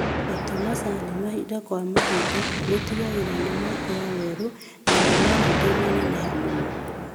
Gũtua macani mahinda kwa mahinda gũtigagĩrĩra nimakũra werũ na mĩmera ndĩnaneneha mũno